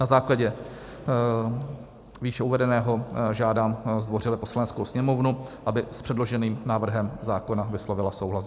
Na základě výše uvedeného žádám zdvořile Poslaneckou sněmovnu, aby s předloženým návrhem zákona vyslovila souhlas.